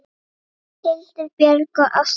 Hildur Björg og Ásta Sirrí.